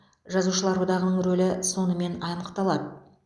жазушылар одағының рөлі сонымен анықталады